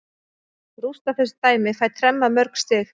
Rústa þessu dæmi, fæ tremma mörg stig.